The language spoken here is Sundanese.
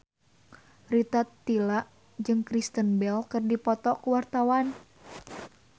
Rita Tila jeung Kristen Bell keur dipoto ku wartawan